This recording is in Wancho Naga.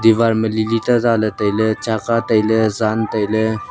ewar ma lilita zale tai le chaga tai le jan tai le.